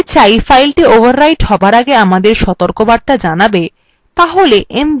আমরা যদি চাই file overwrite হবার আগে আমাদের সতর্কবার্তা জানাবে